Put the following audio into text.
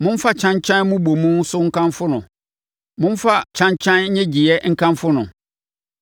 momfa kyankyan mmobɔmu so nkamfo no, momfa kyankyan nnyegyeeɛ nkamfo no.